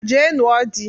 Jee nụo di!